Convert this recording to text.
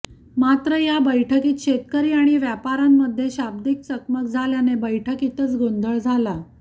मात्र या बैठकीत शेतकरी आणि व्यापाऱ्यांमध्ये शाब्दीक चकमक झाल्याने बैठकीतच गोंधळ झाला